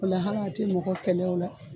O la hal'a te mɔgɔ kɛlɛ o la